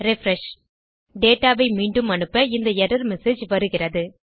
refresh data வை மீண்டும் அனுப்ப இந்த எர்ரர் மெசேஜ் வருகிறது